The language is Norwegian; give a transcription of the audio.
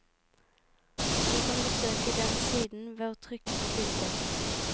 Du kan besøke den siden ved å trykke på bildet.